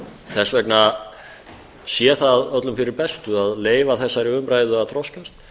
þess vegna sé það öllum fyrir bestu að leyfa þessari umræðu að þroskast